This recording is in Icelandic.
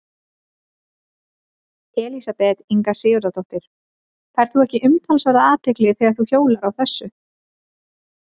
Elísabet Inga Sigurðardóttir: Færð þú ekki umtalsverða athygli þegar þú hjólar á þessu?